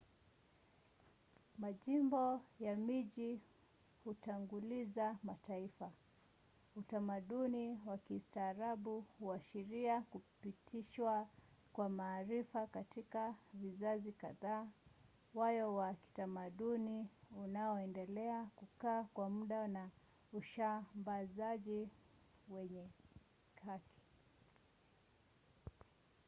majimbo ya miji hutanguliza mataifa. utamaduni wa kistaarabu huashiria kupitishwa kwa maarifa katika vizazi kadhaa wayo wa kitamaduni unaoendelea kukaa kwa muda na usambazaji wenye haki